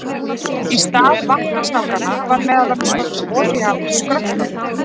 Í stað vatnasnákanna var meðal annars notuð olía úr skröltormum.